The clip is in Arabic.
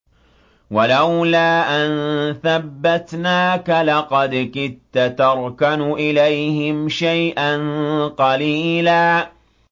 وَلَوْلَا أَن ثَبَّتْنَاكَ لَقَدْ كِدتَّ تَرْكَنُ إِلَيْهِمْ شَيْئًا قَلِيلًا